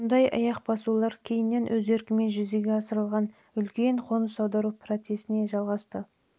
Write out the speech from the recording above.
мұндай аяқ басулар кейіннен өз еркімен жүзеге асырылған үлкен қоныс аудару процесіне жалғасты